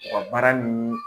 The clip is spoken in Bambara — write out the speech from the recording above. U ka baara nun